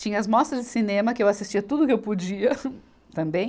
Tinha as mostras de Cinema, que eu assistia tudo que eu podia, também.